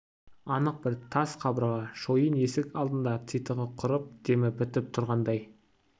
анық бір тас қабырға шойын есік алдында титығы құрып демі бітіп тұрғандай